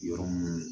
Yɔrɔ mun